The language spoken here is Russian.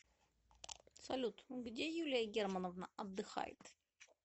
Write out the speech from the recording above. салют где юлия германовна отдыхает